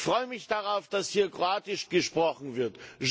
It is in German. Ich freue mich darauf, dass hier Kroatisch gesprochen wird.